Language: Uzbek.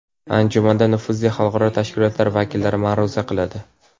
Anjumanda nufuzli xalqaro tashkilotlar vakillari ma’ruza qiladi.